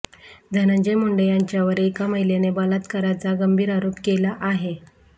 धनंजय मुंडे यांच्यावर एका महिलेने बलात्काराचा गंभीर आरोप केला आहे